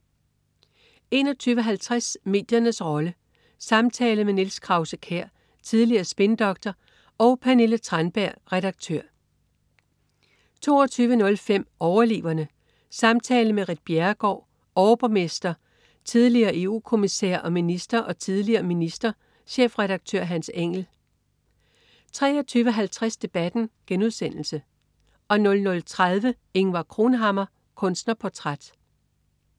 21.50 Mediernes rolle. Samtale med Niels Krause-Kjær, tidligere spindoktor, og Pernille Tranberg, redaktør 22.05 Overleverne. Samtale med Ritt Bjerregaard, overborgmester (S), tidl. EU-kommissær og minister, og tidl. minister, chefredaktør Hans Engell 23.50 Debatten* 00.30 Ingvar Cronhammar. Kunstnerportræt